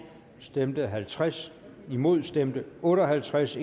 stemte halvtreds imod stemte otte og halvtreds